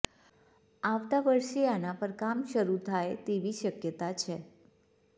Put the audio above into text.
આવતા વરસે આના પર કામ શરૂ થાય તેવી શક્યતા છે